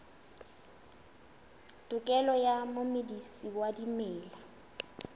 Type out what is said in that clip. tokelo ya momedisi wa dimela